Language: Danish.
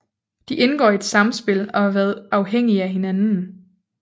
De indgår i et samspil og har været afhængige af hinanden